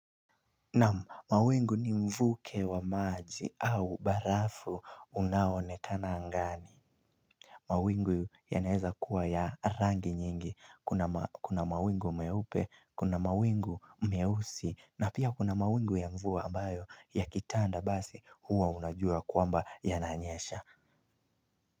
Naam mawingu ni mvuke wa maji au barafu unaoonekana angani mawingu yanaeza kuwa ya rangi nyingi kuna mawingu meupe kuna mawingu meusi na pia kuna mawingu ya mvua ambayo yakitanda basi huwa unajua kwamba yananyesha.